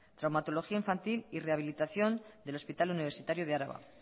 traumatología infantil y rehabilitación del hospital universitario de araba